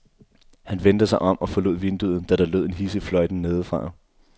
Han vendte sig om og forlod vinduet, da der lød en hidsig fløjten nedefra.